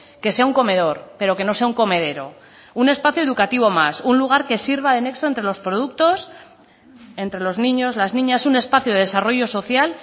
que sea un comedor pero que no sea un comedero un espacio educativo más un lugar que sirva de nexo entre los productos entre los niños las niñas un espacio de desarrollo social